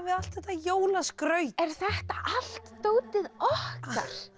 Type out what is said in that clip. allt þetta jólaskraut er þetta allt dótið okkar